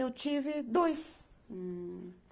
Eu tive dois.